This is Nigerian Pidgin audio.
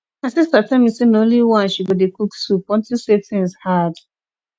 my sister tell me say na only wine she go dey cook soup unto say things hard